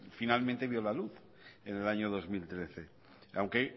finalmente vio la luz en el año dos mil trece aunque